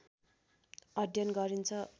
अध्ययन गरिन्छ।